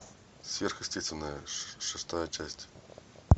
сверхъестественное шестая часть